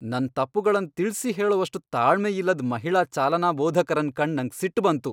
ನನ್ ತಪ್ಪುಗಳನ್ ತಿಳ್ಸಿ ಹೇಳುವಷ್ಟ್ ತಾಳ್ಮೆಯಿಲ್ಲದ್ ಮಹಿಳಾ ಚಾಲನಾ ಬೋಧಕರನ್ ಕಂಡ್ ನಂಗ್ ಸಿಟ್ ಬಂತು.